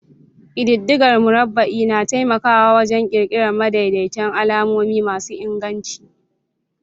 Ƙididdigar murabba'i na taimakawa wajen ƙirƙirar madaidaitan alamomi masu inganci.